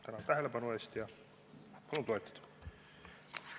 Tänan tähelepanu eest ja palun toetada!